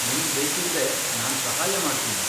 ನಿಂಗ್ ಬೇಕಿದ್ರೆ ನಾನ್ ಸಹಾಯ ಮಾಡ್ತೀನಿ.